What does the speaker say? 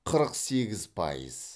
қырық сегіз пайыз